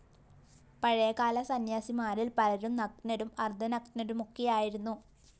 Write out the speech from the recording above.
പഴയകാല സന്യാസിമാരില്‍ പലരും നഗ്നരും അര്‍ദ്ധനഗ്നരുമൊക്കെയായിരുന്നു